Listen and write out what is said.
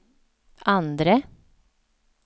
andre